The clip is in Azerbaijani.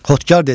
Xodkar dedi: